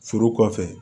Furu kɔfɛ